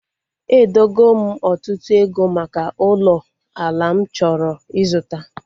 Edogo m ọtụtụ ego maka ụlọ ala m chọrọ ịzụta